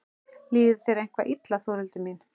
Líður þér eitthvað illa Þórhildur mín?